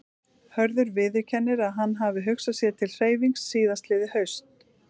Hörður viðurkennir að hann hafi hugsað sér til hreyfings síðastliðið haust.